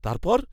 তারপর?